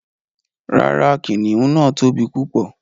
Ràrá, kìnnìún náà tó bí púpọ̀